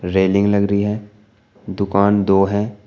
Railing लग रही है दुकान दो हैं।